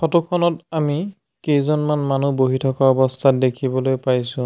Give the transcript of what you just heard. Photo খনত আমি কেইজনমান মানুহ বহি থকা অৱস্থাত দেখিবলৈ পাইছোঁ।